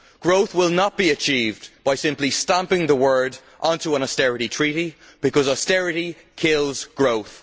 Growth will not be achieved simply by stamping the word onto an austerity treaty, because austerity kills growth.